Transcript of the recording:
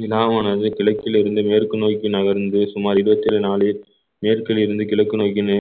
வினாவானது கிழக்கிலிருந்து மேற்கு நோக்கி நகர்ந்து சுமார் இருபத்தி ஒரு நாளில் மேற்கிலிருந்து கிழக்கு நோக்கி